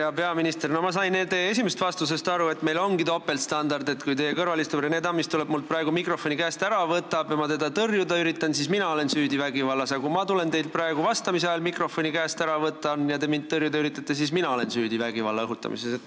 Hea peaminister, ma sain teie esimesest vastusest aru, et meil ongi topeltstandard: kui teie kõrval istuv Rene Tammist tuleb mult praegu mikrofoni käest ära võtma ja ma teda tõrjuda üritan, siis olen ma süüdi vägivallas, aga kui ma tulen teilt praegu vastamise ajal mikrofoni käest ära võtma ja te mind tõrjuda üritate, siis ma olen süüdi vägivalla õhutamises.